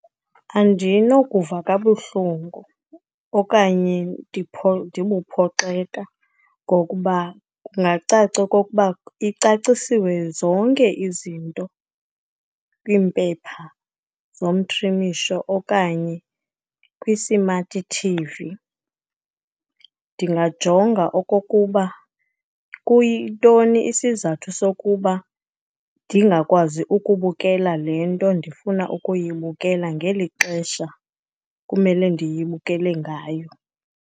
Andinokuva kabuhlungu okanye ndibuphoxeka ngokuba kungacaca okokuba icacisiwe zonke izinto kwiimpepha zomtrimisho okanye kwi-smart T_V. Ndingajonga okokuba kuyintoni isizathu sokuba ndingakwazi ukubukela le nto ndifuna ukuyibukela ngeli xesha kumele ndiyibukele ngayo.